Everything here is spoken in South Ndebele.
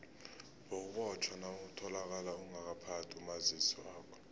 bewubotjhwa nawutholakale ungakaphathi umazisi wakho